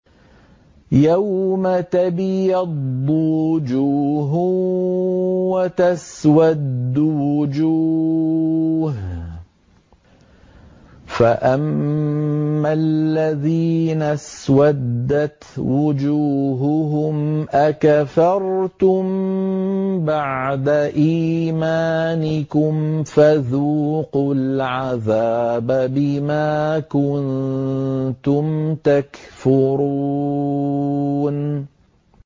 يَوْمَ تَبْيَضُّ وُجُوهٌ وَتَسْوَدُّ وُجُوهٌ ۚ فَأَمَّا الَّذِينَ اسْوَدَّتْ وُجُوهُهُمْ أَكَفَرْتُم بَعْدَ إِيمَانِكُمْ فَذُوقُوا الْعَذَابَ بِمَا كُنتُمْ تَكْفُرُونَ